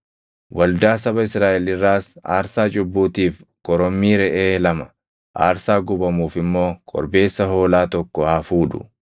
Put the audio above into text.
Waldaa saba Israaʼel irraas aarsaa cubbuutiif korommii reʼee lama, aarsaa gubamuuf immoo korbeessa hoolaa tokko haa fuudhu.